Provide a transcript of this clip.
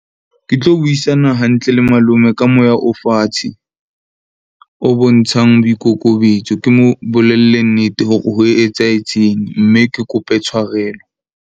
Ke tlo buisana hantle le malome ka moya o fatshe, o bontshang boikokobetso. Ke mo bolelle nnete hore ho etsahetseng, mme ke kope tshwarelo.